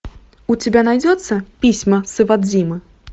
у тебя найдется письма с иводзимы